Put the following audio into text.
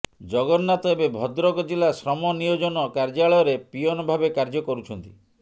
ଜଗନ୍ନାଥ ଏବେ ଭଦ୍ରକ ଜିଲ୍ଲା ଶ୍ରମ ନିୟୋଜନ କାର୍ଯ୍ୟାଳୟରେ ପିଅନ ଭାବେ କାର୍ଯ୍ୟ କରୁଛନ୍ତି